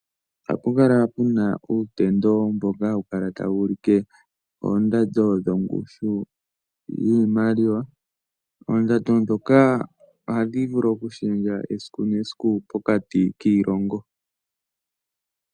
Ohapu kala pu na uutendo mboka hawu kala tawu ulike oondando dhongushu yiimaliwa. Oondando ndhoka ohadhi vulu okushendja esiku nesiku pokati kiilongo.